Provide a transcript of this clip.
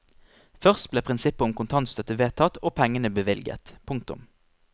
Først ble prinsippet om kontantstøtte vedtatt og pengene bevilget. punktum